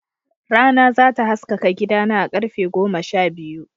Rana za ta haskaka gidana a karfe goma sha biyu.